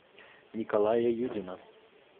николая юдина